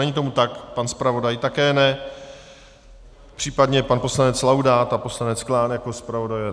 Není tomu tak, pan zpravodaj také ne, případně pan poslanec Laudát a poslanec Klán jako zpravodajové?